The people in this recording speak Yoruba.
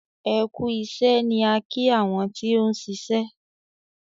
"ẹkú iṣé " ní a ki àwọn tí òun ṣiṣẹ.